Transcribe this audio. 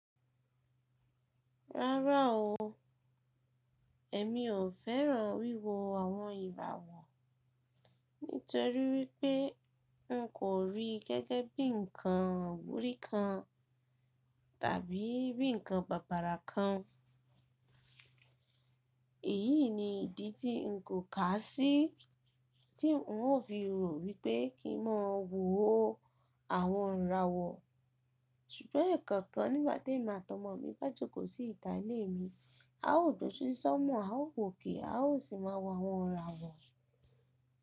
Rárá o, èmi ò fẹ́ràn wíwo àwọn ìràwọ̀ nítorí wípé n kò rí gẹ́gẹ́ bí ǹkan iwúri kan tàbí bí ǹkan bàbàrà kan. Èyí ni ìdí tí n kò kà á sí tí n ó fi rò wípé kí n máa wo àwọn ìràwọ̀. Sùgbọ́n ǹkan kan nígbà tì emi atọmọ mi bá jókòó sí ìta ilé mi, a ó dò siṣí sọ́na a ó wò okè a ó sì máa wo àwọn ìràwọ̀.